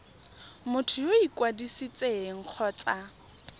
motho yo o ikwadisitseng kgotsa